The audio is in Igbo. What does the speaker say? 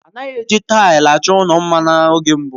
A naghị eji taịlị achọ ụlọ mma n'oge mbụ.